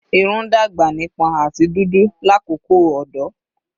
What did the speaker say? Irun dagba nipon ati dudu lakoko ọdọ